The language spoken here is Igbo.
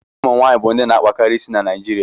ụmụ nwaanyị bụ ndị na akpakarị isi na Naijirịa